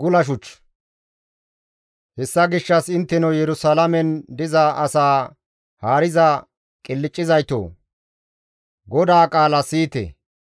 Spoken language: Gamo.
Hessa gishshas intteno Yerusalaamen diza asaa haariza qilccizaytoo! GODAA qaalaa siyite.